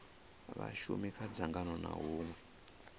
vhashumi kha dzangano ha hunwe